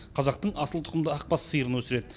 қазақтың асыл тұқымды ақбас сиырын өсіреді